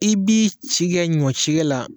I b'i si kɛ ɲɔ cikɛ la